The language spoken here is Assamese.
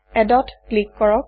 addত ক্লিক কৰক